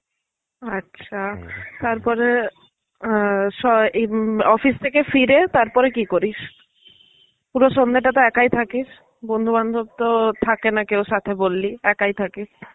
আচ্ছা, তারপরে আহ স উম office থেকে ফিরে তারপরে কি করিস? পুরো সন্ধেটা তো একাই থাকিস. বন্ধু বান্ধব তো থাকেনা কেউ সাথে বল্লি, একাই থাকিস.